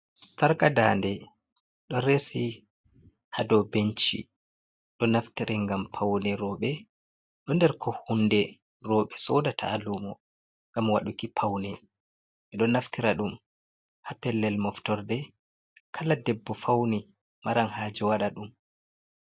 sarka dande ɗo resi hado benchi, ɗo naftire ngam paune roɓe, ɗo nder ko hunde roɓe sodata ha lumo ngam waɗuki paune, be do naftira ɗum ha pellel moftorde, kala debbo fauni maran haje wada ɗum